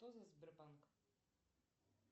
кто за сбербанк